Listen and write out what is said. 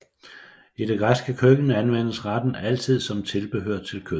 I det græske køkken anvendes retten altid som et tilbehør til kød